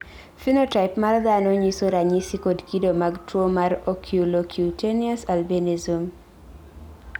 phenotype mar dhano nyiso ranyisi kod kido mag tuwo mar Oculocutaneous albinism.